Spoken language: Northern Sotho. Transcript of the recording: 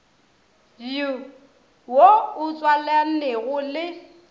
bj wo o tswalanego le